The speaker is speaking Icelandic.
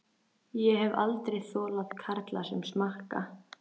Ég hef aldrei þolað karla sem smakka.